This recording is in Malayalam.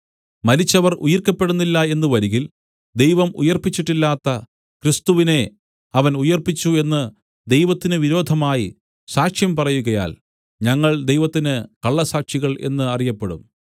മരിച്ചവർ ഉയിർക്കപ്പെടുന്നില്ല എന്ന് വരികിൽ ദൈവം ഉയിർപ്പിച്ചിട്ടില്ലാത്ത ക്രിസ്തുവിനെ അവൻ ഉയിർപ്പിച്ചു എന്ന് ദൈവത്തിന് വിരോധമായി സാക്ഷ്യം പറയുകയാൽ ഞങ്ങൾ ദൈവത്തിന് കള്ളസാക്ഷികൾ എന്നറിയപ്പെടും